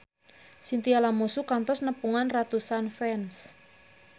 Chintya Lamusu kantos nepungan ratusan fans